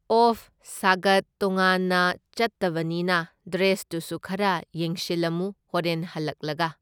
Of ꯁꯒꯠ ꯇꯣꯡꯉꯥꯟꯅ ꯆꯠꯇꯕꯅꯤꯅ ꯗ꯭ꯔꯦꯁꯇꯨꯁꯨ ꯈꯔ ꯌꯦꯡꯁꯤꯜꯂꯝꯃꯨ ꯍꯣꯔꯦꯟ ꯍꯜꯂꯛꯂꯒ꯫